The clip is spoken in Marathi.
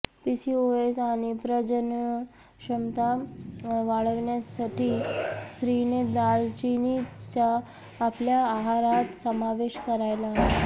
पीसीओएस आणि प्रजनन क्षमता वाढवण्यासठी स्त्रीने दालचीनीचा आपल्या आहारात समावेश करायला हवा